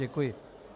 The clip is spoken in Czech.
Děkuji.